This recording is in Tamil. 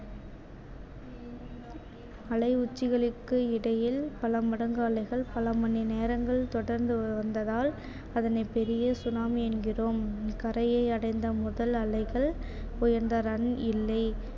அலை உச்சிகளுக்கு இடையில் பல மடங்கு அலைகள் பல மணி நேரங்கள் தொடர்ந்து வந்ததால் அதனை பெரிய tsunami என்கிறோம் கரையை அடைந்த முதல் அலைகள் உயர்ந்த run இல்லை